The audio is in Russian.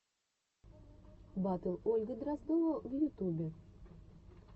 батл ольга дроздова в ютубе